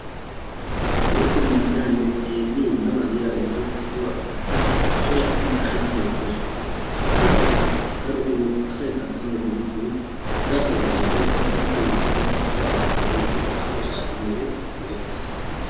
Keehippe mal'iyanne xeellin ma ma giya wolaytta wogaa qumati coratidi ka'idi uttidaageeti beettoosona. Ha kattata darotoo asay kattanawu go'ettiyoy dabbo asay woykko pokko imattay harasaappe/haahosappe yiyode go'ettees.